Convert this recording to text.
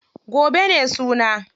Gobe ne suna.